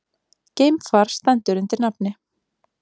Geimfar stendur undir nafni